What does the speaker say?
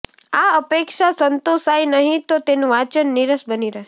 આ અપેક્ષા સંતોષાય નહીં તો તેનું વાંચન નીરસ બની રહે